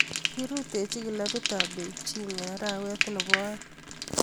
Kiirutaji kilabit ab beijing eng arawet nebo aeng